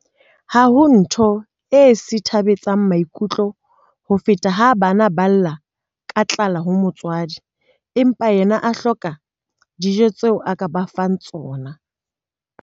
Ha ho ntho e sithabetsang maikutlo ho feta ha bana ba lla ka tlala ho motswadi, empa yena a hloka dijo tseo a ka ba fepang tsona.